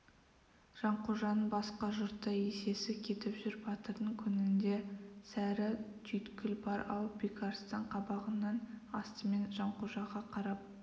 жанқожаның басқа жұртта есесі кетіп жүр батырдың көңілінде сәрі түйткіл бар-ау бекарыстан қабағының астымен жанқожаға қарап